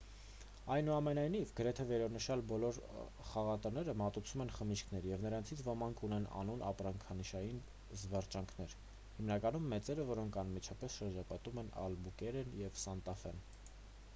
այնուամենայնիվ գրեթե վերոնշյալ բոլոր խաղատները մատուցում են խմիչքներ և նրանցից ոմանք ունեն անուն ապրանքանշային զվարճանքներ հիմնականում մեծերը որոնք անմիջապես շրջապատում են ալբուկերկեն և սանտա ֆեն: